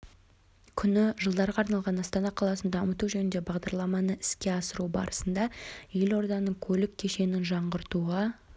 күні жылдарға арналған астана қаласын дамыту жөнінде бағдарламаны іске асыру барысында елорданың көлік кешенін жаңғыртуға